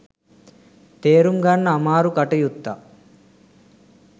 තේරුම් ගන්න අමාරු කටයුත්තක්.